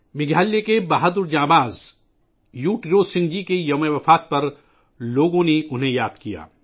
میگھالیہ کے بہادر مجاہد ، یو تیروت سنگھ جی کی برسی پر لوگوں نے انہیں یاد کیا